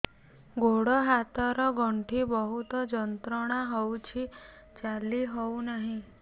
ଗୋଡ଼ ହାତ ର ଗଣ୍ଠି ବହୁତ ଯନ୍ତ୍ରଣା ହଉଛି ଚାଲି ହଉନାହିଁ